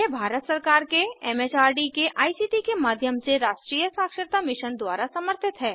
यह भारत सरकार के एम एच आर डी के आई सी टी के माध्यम से राष्ट्रीय साक्षरता मिशन द्वारा समर्थित है